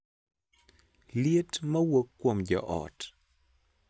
Liet ma wuok kuom joot